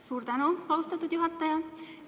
Suur tänu, austatud juhataja!